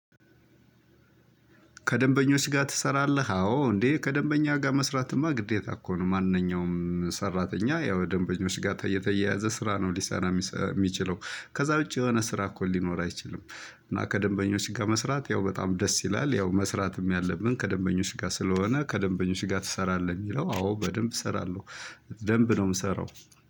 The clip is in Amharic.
ከደንበኞች ጋር ትሰራለህ? አዎ እንዴ ከደንበኛ ጋር መስራትማ ግዴታ እኮ ነው። ማንኛውም ሰራተኛ ያው ደንበኞች ጋር የተያያዘ ስራ ነው ሊሳን የሚችለው። ከዛ ውጪ የሆነ ስራ እኮ ሊኖር አይችልም። እና ከደንበኞች ጋር መስራት ያው በጣም ደስ ይላል። ያው መስራትም ያለብን ከደንበኞች ጋር ስለሆነ ከደንበኞች ጋር ትሰራለህ? የሚለው አዎ በደንብ እሰራለሁ። ደንብ ነው ምሰራው።